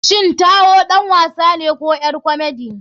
Shin taiwo ɗan wasane ko ƴar komedi?